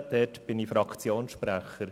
dort bin ich Fraktionssprecher.